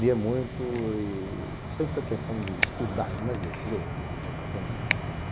Lia muito e sem pretensão de estudar, mas ler, ler, ler, aprender.